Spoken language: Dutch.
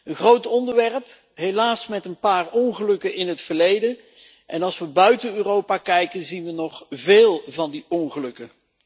Een groot onderwerp, helaas met een paar ongelukken in het verleden. En als we buiten Europa kijken, zien we nog veel van die ongelukken.